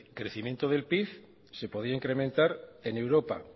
crecimiento del pib se podría incrementar en europa